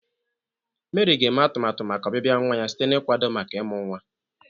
Meri ga-eme atumatu maka ọbịbịa nwa ya site n'ịkwado maka ịmụ nwa.